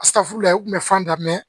u tun bɛ fan da mɛ